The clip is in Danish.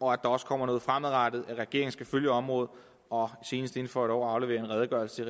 og at der også kommer noget fremadrettet at regeringen skal følge området og senest inden for et år aflevere en redegørelse